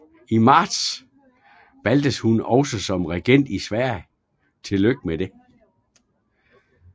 I marts valgtes hun også som regent i Sverige